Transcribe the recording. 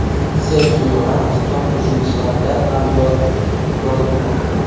Serxio Ramos top-hujumchilardan ham ko‘p gol urmoqda.